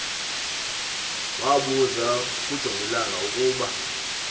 wabuza kujongilanga ukuba